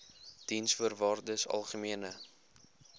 diensvoorwaardesalgemene